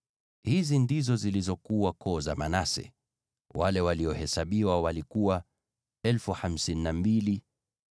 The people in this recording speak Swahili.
Hizi ndizo zilizokuwa koo za Manase; wale waliohesabiwa walikuwa 52,700.